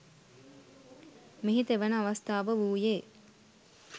මෙහි තෙවන අවස්ථාව වූයේ